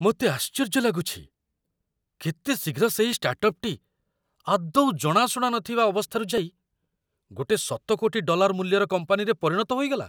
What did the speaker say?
ମୋତେ ଆଶ୍ଚର୍ଯ୍ୟ ଲାଗୁଛି, କେତେ ଶୀଘ୍ର ସେହି ଷ୍ଟାର୍ଟଅପ୍‌ଟି ଆଦୌ ଜଣାଶୁଣା ନଥିବା ଅବସ୍ଥାରୁ ଯାଇ ଗୋଟିଏ ଶତ କୋଟି ଡଲାର ମୂଲ୍ୟର କମ୍ପାନୀରେ ପରିଣତ ହୋଇଗଲା!